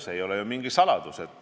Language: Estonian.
See ei ole ju mingi saladus.